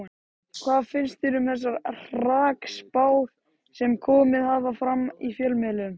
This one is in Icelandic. Hvað finnst þér um þessar hrakspár sem komið hafa fram í fjölmiðlum?